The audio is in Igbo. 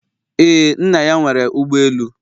Ee, nna ya nwere ụgbọ elu